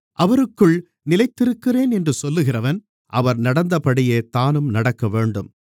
அவருக்குள் நிலைத்திருக்கிறேன் என்று சொல்லுகிறவன் அவர் நடந்தபடியே தானும் நடக்கவேண்டும்